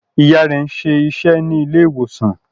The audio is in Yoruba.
Ìyá rẹ̀ ń ṣe iṣẹ́ ní ilé ìwòsàn